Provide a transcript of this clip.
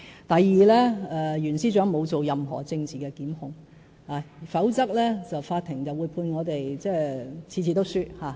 第二，袁司長沒有作出任何政治檢控，否則法庭會判我們每次也敗訴。